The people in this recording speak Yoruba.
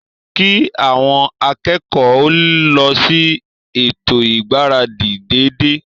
Kí àwọn akẹ́kọ̀ọ́ o lọ sí ètò ìgbáradì dédé